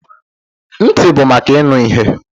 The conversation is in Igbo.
Ntị bụ maka ịnụ ihe.